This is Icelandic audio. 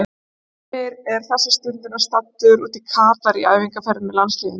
Heimir er þessa stundina staddur út í Katar í æfingaferð með landsliðinu.